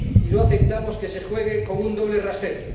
y no aceptamos que se juegue con un doble rasero.